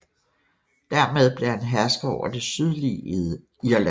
Dermed blev han hersker over det sydlige Irland